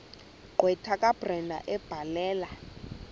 gqwetha kabrenda ebhalela